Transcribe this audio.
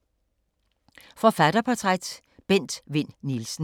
Forfatterportræt: Bent Vinn Nielsen